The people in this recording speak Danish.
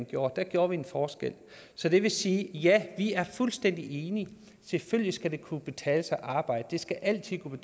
gjorde der gjorde vi en forskel så det vil sige at ja vi er fuldstændig enige selvfølgelig skal det kunne betale sig at arbejde det skal altid kunne